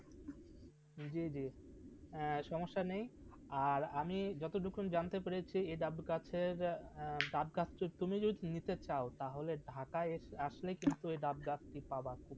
যে যে সমস্যা নেই আর আমি যতদুক্ষণ জানতে পেরেছি এই ডাব গাছের ডাব গাছটা তুমি যদি নিতে চাও তাহলে ঢাকা আসলে কিন্তু এই ডাব গাছ টু পাবা